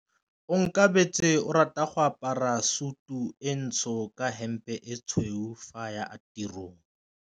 Onkabetse o rata go apara sutu e ntsho ka hempe e tshweu fa a ya tirong.